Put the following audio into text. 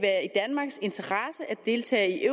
deltage i